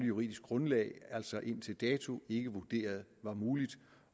juridisk grundlag altså indtil dato ikke vurderet var muligt